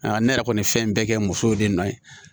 Aa ne yɛrɛ kɔni fɛn in bɛɛ kɛ musow de nɔ ye